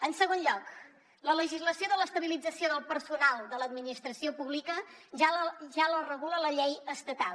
en segon lloc la legislació de l’estabilització del personal de l’administració pública ja la regula la llei estatal